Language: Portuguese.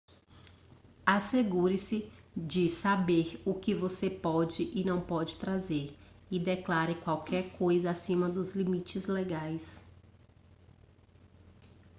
assegure-se de saber o que você pode e não pode trazer e declare qualquer coisa acima dos limites legais